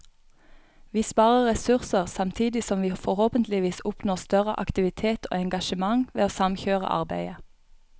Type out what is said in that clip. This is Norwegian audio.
Vi sparer ressurser, samtidig som vi forhåpentligvis oppnår større aktivitet og engasjement ved å samkjøre arbeidet.